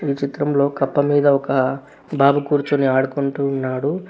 ఈ చిత్రంలో కప్ప మీద ఒక బాబు కూర్చుని ఆడుకుంటూ ఉన్నాడు.